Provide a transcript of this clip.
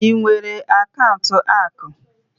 Ị nwere akaụntụ akụ?